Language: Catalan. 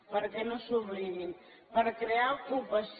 perquè no se n’oblidin per crear ocupació